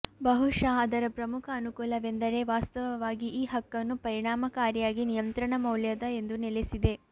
ಬಹುಶಃ ಅದರ ಪ್ರಮುಖ ಅನುಕೂಲವೆಂದರೆ ವಾಸ್ತವವಾಗಿ ಈ ಹಕ್ಕನ್ನು ಪರಿಣಾಮಕಾರಿಯಾಗಿ ನಿಯಂತ್ರಣ ಮೌಲ್ಯದ ಎಂದು ನೆಲೆಸಿದೆ